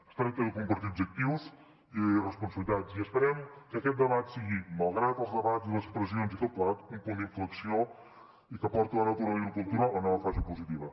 es tracta de compartir objectius i responsabilitats i esperem que aquest debat sigui malgrat els debats i les pressions i tot plegat un punt d’inflexió i que porti la natura i la cultura a la fase positiva